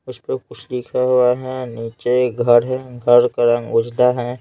उस पर कुछ लिखा हुआ है नीचे घर है घर का रंग उजला है।